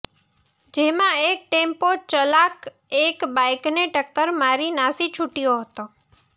જેમાં એક ટેમ્પો ચલાક એક બાઈકને ટક્કર મારી નાસી છૂટ્યો હતો